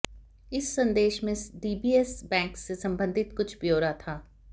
इस संदेश में डीबीएस बैंक से संबंधित कुछ ब्यौरा था